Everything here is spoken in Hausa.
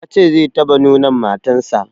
Ya ce zai taɓa nonon matan sa